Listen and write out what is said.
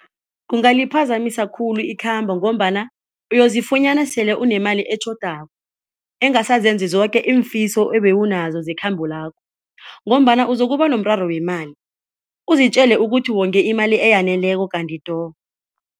Kungaliphazamisa khulu ikhamba ngombana uyozifunyana sele unemali etjhodako engasazenzi zoke iimfiso ebewunazo zekhambo lakho ngombana uzokuba nomraro wemali uzitjele ukuthi wonge imali eyaneleko kanti do.